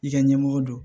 I ka ɲɛmɔgɔ don